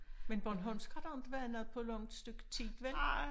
Men bornholmsk har der inte været noget på langt stykke tid vel?